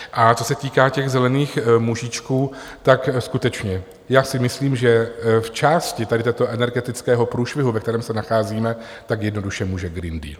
A co se týká těch zelených mužíčků, tak skutečně já si myslím, že v části tohoto energetického průšvihu, ve kterém se nacházíme, tak jednoduše může Green Deal.